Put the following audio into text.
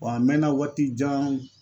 Wa a mɛɛnna, waati jan